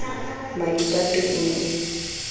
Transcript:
maipato e ne e le